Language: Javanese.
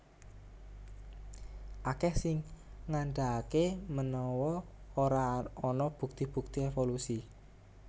Akèh sing ngandhakaké menawa ora ana bukti bukti évolusi